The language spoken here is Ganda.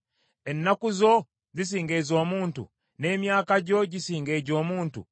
Ennaku zo zisinga ez’omuntu, n’emyaka gyo gisinga egy’omuntu,